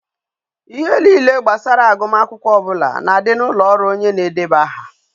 Ihe niile gbasara agumakwukwo obula na di na ulo oru onye na-edebe aha